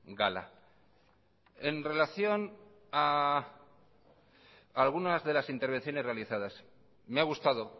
gala en relación a algunas de las intervenciones realizadas me ha gustado